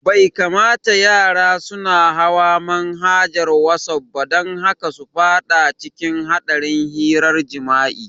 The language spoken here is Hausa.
Bai kamata yara suna hawa manhajar wasaf ba don kada su fada cikin hadarin hirar jimi'a